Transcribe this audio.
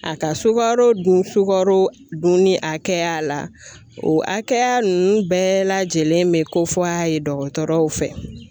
A ka sukaro dun sukaro dun ni a kɛya la, o hakɛya nunnu bɛɛ lajɛlen bɛ ko fɔ a ye dɔgɔtɔrɔw fɛ.